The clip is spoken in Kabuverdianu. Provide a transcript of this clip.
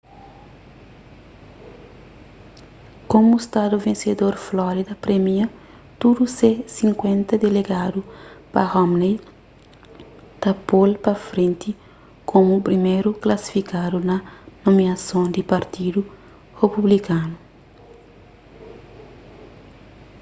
komu stadu vensedor florida premia tudu se sinkuenta delegadu pa romney ta po-l pa frenti komu priméru klasifikadu pa nomiason di partidu republikanu